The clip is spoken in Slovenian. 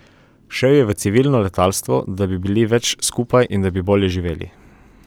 Šel je v civilno letalstvo, da bi bili več skupaj in da bi bolje živeli.